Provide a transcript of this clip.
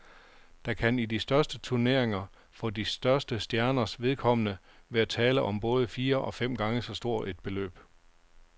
Der kan i de største turneringer for de største stjerners vedkommende være tale om både fire og fem gange så stort et beløb.